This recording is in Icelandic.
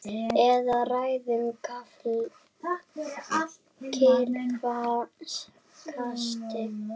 Eða ræður kylfa kasti?